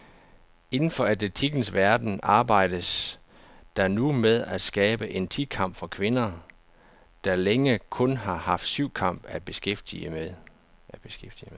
Inden for atletikkens verden arbejdes der nu med at skabe en ti kamp for kvinder, der længe kun har haft syvkamp at beskæftige med.